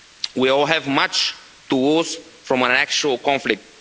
We all have much to lose from an actual conflict.